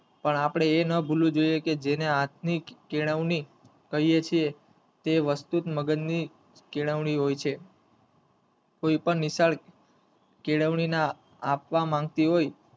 પણ આપડે એ ન ભૂલવું જોયે કે જેને હાથ ની કેળવણી કહીયે છીએ તે વસ્તુ જ મગજ ની કેળવણી હોય છે કોઈ પણ નિશાળ કેળવણી ના આપવા માંગતી હોય.